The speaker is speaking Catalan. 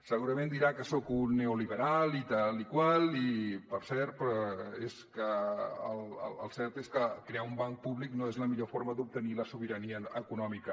segurament dirà que soc un neoliberal i tal i qual i el cert és que crear un banc públic no és la millor forma d’obtenir la sobirania econòmica